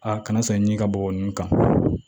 A kana san ɲini ka bɔgɔ ninnu kan